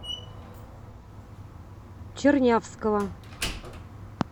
чернявского